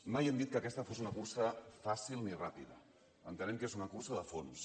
mai hem dit que aquesta fos una cursa fàcil ni ràpida entenem que és una cursa de fons